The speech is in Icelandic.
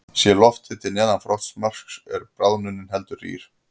Sé lofthiti neðan frostmarks er bráðnunin heldur rýr.